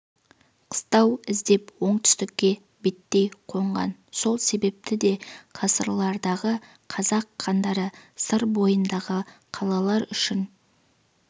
қыстау іздеп оңтүстікке беттей қонған сол себепті де ғасырлардағы қазақ хандары сыр бойындағы қалалар үшін